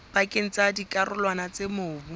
pakeng tsa dikarolwana tsa mobu